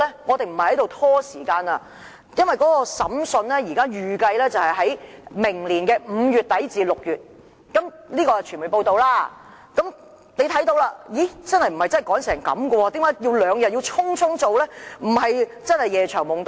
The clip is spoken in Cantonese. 我們不是拖延，因為根據傳媒報道，預計審訊會在明年5月底至6月進行，可見真的沒有甚麼急切性，一定要在兩天內匆匆處理，對嗎？